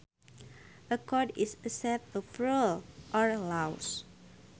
A code is a set of rules or laws